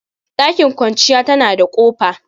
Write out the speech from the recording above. Ɗakin kwanciya tana da kofa